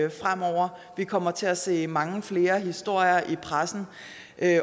vi kommer til at se mange flere historier i pressen